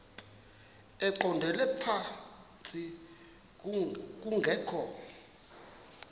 eqondele phantsi kungekho